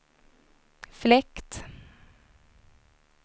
fläkt